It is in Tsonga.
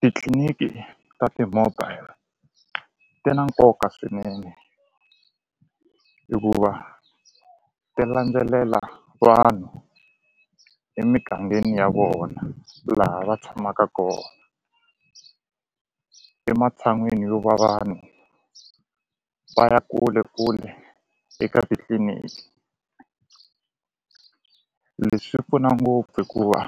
Titliliniki ta ti-mobile ti na nkoka swinene hikuva ti landzelela vanhu emigangeni ya vona laha va tshamaka kona ematshan'wini yo va vanhu va ya kule kule eka titliliniki leswi pfuna ngopfu hikuva